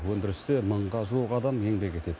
өндірісте мыңға жуық адам еңбек етеді